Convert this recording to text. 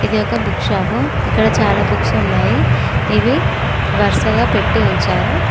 ఇది ఒక book shop ఇక్కడ చాలా బుక్స్ ఉన్నాయి ఇవి వరుసగా పెట్టి ఉంచారు.